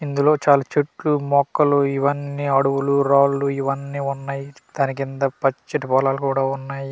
ఇందులో చాలా చెట్లు మొక్కలు ఇవన్నీ అడవులు రాళ్ళు ఇవన్నీ ఉన్నయి దాని కింద పచ్చటి పొలాలు కూడా ఉన్నాయి.